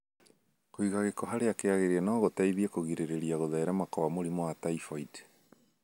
Kũiga gĩko harĩa kĩagĩrĩire no gũteithie kũgirĩrĩria gũtherema kwa mũrimũ wa typhoid.